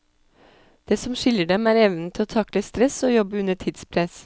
Det som skiller dem, er evnen til å takle stress og jobbe under tidspress.